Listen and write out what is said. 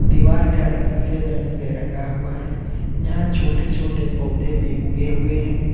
दीवार का रंग सफेद रंग से रंगा हुआ है यहां छोटे छोटे पौधे भी उगे हुए हैं।